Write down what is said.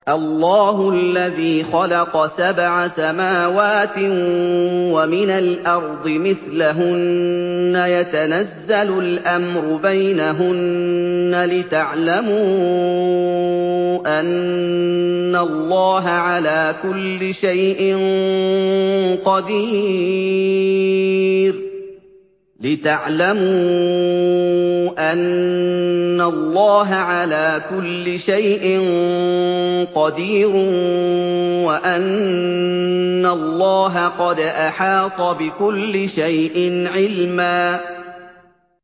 اللَّهُ الَّذِي خَلَقَ سَبْعَ سَمَاوَاتٍ وَمِنَ الْأَرْضِ مِثْلَهُنَّ يَتَنَزَّلُ الْأَمْرُ بَيْنَهُنَّ لِتَعْلَمُوا أَنَّ اللَّهَ عَلَىٰ كُلِّ شَيْءٍ قَدِيرٌ وَأَنَّ اللَّهَ قَدْ أَحَاطَ بِكُلِّ شَيْءٍ عِلْمًا